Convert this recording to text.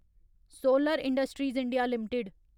solar industries India limited